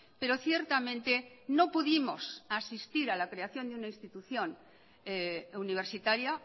pero ciertamente no pudimos asistir a la creación de una institución universitaria